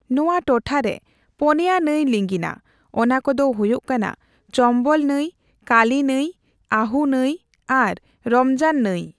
ᱱᱚᱣᱟ ᱴᱚᱴᱷᱟᱨᱮ ᱯᱚᱱᱭᱟ ᱱᱟᱹᱭ ᱞᱤᱸᱜᱤᱱᱟ, ᱚᱱᱟᱠᱚᱫᱚ ᱦᱳᱭᱳᱜ ᱠᱟᱱᱟ ᱪᱚᱢᱵᱚᱞ ᱱᱟᱹᱭ, ᱠᱟᱹᱞᱤ ᱱᱟᱹᱭ, ᱟᱹᱦᱩ ᱱᱟᱹᱭ ᱟᱨ ᱨᱚᱢᱡᱟᱱ ᱱᱟᱹᱭ ᱾